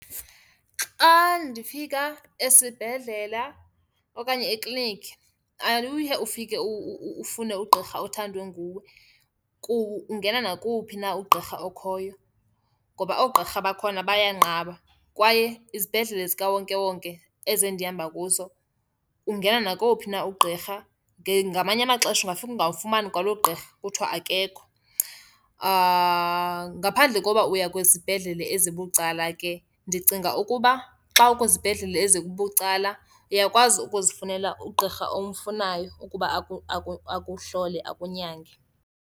Xa ndifika esibhedlela okanye ekliniki awuye ufike ufune ugqirha othandwe nguwe, ungena nakowuphi na uqqirha okhoyo. Ngoba oogqirha bakhona bayanqaba kwaye izibhedlele zikawonkewonke, ezi endihamba kuzo, ungena nakowuphi na uqqirha. Ngamanye amaxesha ungafika ungawufumani kwaloo gqirha, kuthiwe akekho. Ngaphandle koba uya kwizibhedlele ezibucala ke, ndicinga ukuba xa ukwizibhedlele ezibucala uyakwazi ukuzifunela ugqirha omfunayo ukuba akuhlole, akunyange.